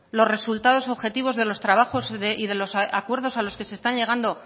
los resultados objetivos de los trabajos y de los acuerdos a los que se están llegando